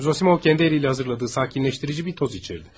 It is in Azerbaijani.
Zosimov öz əliylə hazırladığı sakitləşdirici bir toz içirtdi.